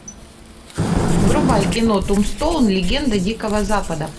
врубай кино тумстоун легенда дикого запада